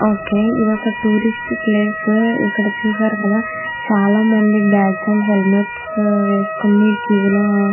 okay ఇది ఒక tourist place చూశారు కదా ఇక్కడ చాలా మంది బాగ్స్ అండ్ హెల్మెట్స్ వేసుకుని క్యూ లో --